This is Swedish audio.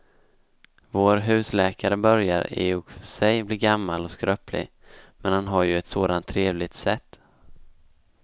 Vår husläkare börjar i och för sig bli gammal och skröplig, men han har ju ett sådant trevligt sätt!